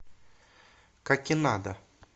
какинада